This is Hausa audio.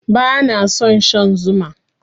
Bana son shan Zuma.